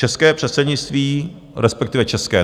České předsednictví - respektive české.